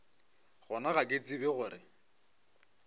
gona ga ke tsebe gore